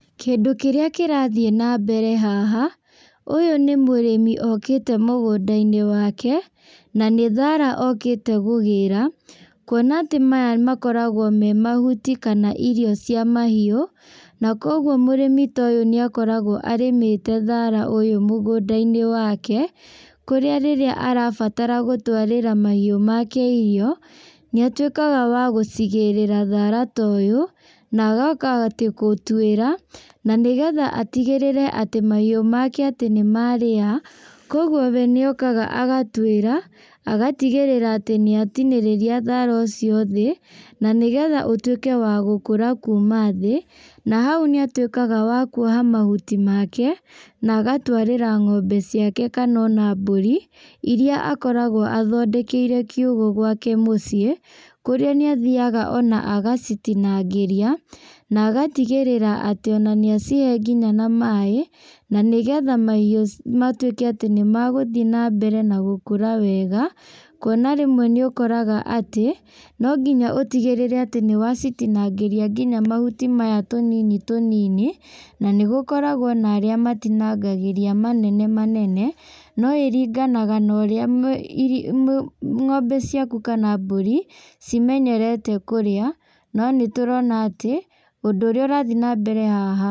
Kĩndũ kĩrĩa kĩrathiĩ nambere haha, ũyũ nĩ mũrimĩ okĩte mũgũndainĩ wake, na nĩ thara okĩte gũgĩra, kuona atĩ maya makoragwo me mahuti kana irio cia mahiũ, na koguo mũrĩmi ta ũyũ nĩakoragwo arĩmĩte thara ũyũ mũgũndainĩ wake, kũrĩa rĩrĩa arabatara gũtwarĩra mahiũ make irio, nĩatuĩkaga wa gũcigĩrĩra thara ta ũyũ, na agoka atĩ gũtuĩra, na nĩgetha atigĩrĩre atĩ mahiũ make atĩ nĩmarĩa, koguo we nĩokaga agatuĩra, agatigĩrĩra atĩ nĩatinĩrĩria thara ũcio thĩ, na nĩgetha ũtuĩke wa gũkũra kuma thĩ, na hau nĩatuĩkaga wa kuoha mahuti make, na agatwarĩra ng'ombe ciake kana ona mbũri, iria akoragwo athondekeire kiugũ gwake mũciĩ, kũrĩa nĩathiaga ona agacitinangĩria, na agatigĩrĩra atĩ ona nĩacihe nginya na maĩ, na nĩgetha mahiũ matuĩke atĩ nĩmagũthiĩ nambere na gũkũra wega, kuona rĩmwe nĩ ũkoraga atĩ, no nginya ũtigĩrĩre atĩ nĩwacitinangĩria nginya mahuti maya tũnini tũnini, na nĩgũkoragwo na arĩa matinangagĩria manene manene, no ĩringanafa na ũrĩa mũ ng'ombe ciaku kana mbũri, cimenyerete kũrĩa, no nĩtũrona atĩ, ũndũ ũrĩa ũrathiĩ nambere haha.